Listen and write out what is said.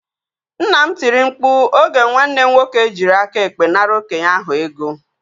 Nna m tiri mkpu oge nwanne m nwoke jiri aka ekpe nara okenye ahụ ego